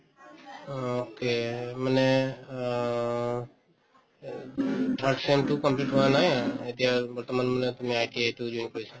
okay, মানে অ third sem তো complete হোৱা নাই এতিয়া বৰ্তমান মানে তুমি ITI তো join কৰিছা